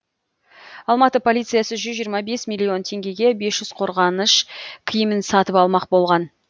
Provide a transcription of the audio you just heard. алматы полициясы жүз жиырма бес миллион теңгеге бес жүз қорғаныш киімін сатып алмақ болған